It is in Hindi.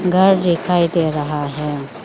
घर दिखाई दे रहा है।